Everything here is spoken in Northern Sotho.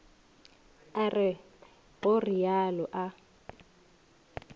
a re go realo a